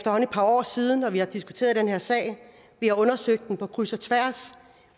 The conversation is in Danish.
par år siden og vi har diskuteret den her sag vi har undersøgt den på kryds og tværs